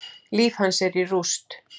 Líf hans er í rúst.